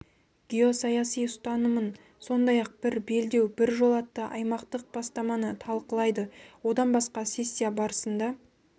геосаяси ұстанымын сондай-ақ бір белдеу бір жол атты аймақтық бастаманы талқылайды одан басқа сессия барысында